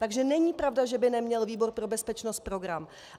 Takže není pravda, že by neměl výbor pro bezpečnost program.